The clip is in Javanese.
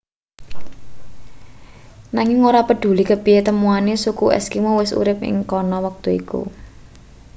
nanging ora preduli kepiye temuane suku eskimo wis urip ing kana wektu iku